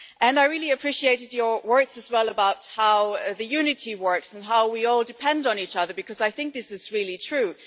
I really appreciated your words as well about how unity works and how we all depend on each other because I think this is really true.